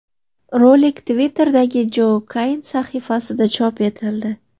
Rolik Twitter’dagi Joe Cain sahifasida chop etildi.